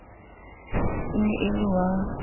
e ne e le wa